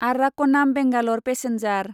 आर्राक'नाम बेंगालर पेसेन्जार